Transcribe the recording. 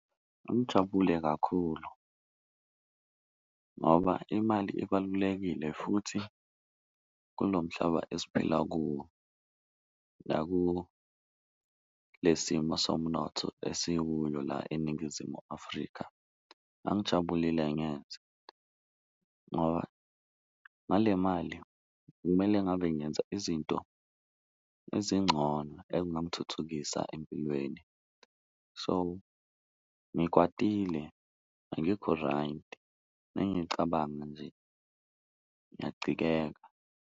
Ngangijabule kakhulu ngoba imali ibalulekile futhi kulo mhlaba esiphila kuwo naku le simo somnotho esikuyo la eNingizimu Afrika, ngangijabulile ngoba ngale mali bekumele ngabe ngenza izinto ezingcono ekungamthuthukisa empilweni. So, ngikwatile angikho-right mengicabanga nje ngiyacikeka.